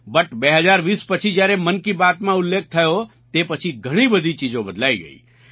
but 2020 પછી જ્યારે મન કી બાતમાં ઉલ્લેખ થયો તે પછી ઘણી બધી ચીજો બદલાઈ ગઈ